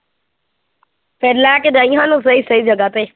ਫਿਰ ਲੈ ਕੇ ਜਾਈਂ ਸਾਨੂੰ ਸਹੀ ਸਹੀ ਜਗ੍ਹਾ ਤੇ।